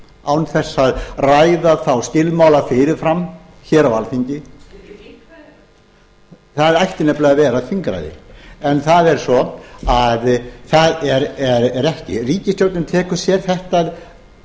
án þess að ræða þá skilmála fyrir fram hér á alþingi það ætti nefnilega að vera þingræði en það er svo að það er ekki ríkisstjórnin tekur sér þetta